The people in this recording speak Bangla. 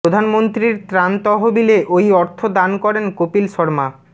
প্রধানমন্ত্রীর ত্রাণ তহবিলে ওই অর্থ দান করেন কপিল শর্মা